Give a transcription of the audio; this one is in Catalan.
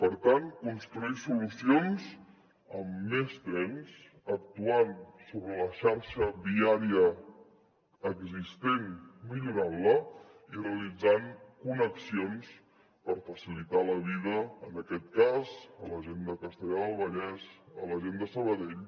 per tant construir solucions amb més trens actuant sobre la xarxa viària existent millorant la i realitzant connexions per facilitar la vida en aquest cas a la gent de castellar del vallès a la gent de sabadell